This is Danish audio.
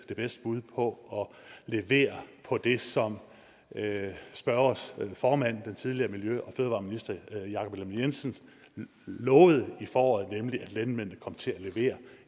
det bedste bud på at levere på det som spørgerens formand den tidligere miljø og fødevareminister jakob ellemann jensen lovede i foråret nemlig at landmændene kom til at levere